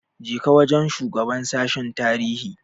Je ka wajen shugaban sashen tarihi!